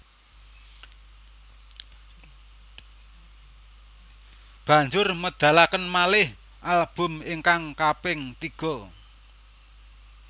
Banjur medalaken malih album ingkang kaping tiga